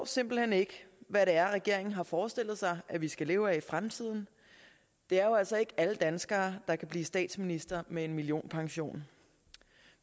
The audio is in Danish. simpelt hen ikke hvad regeringen har forestillet sig at vi skal leve af i fremtiden det er jo altså ikke alle danskere der kan blive statsminister med en millionpension